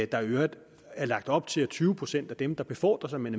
der i øvrigt er lagt op til at tyve procent af dem der befordrer sig med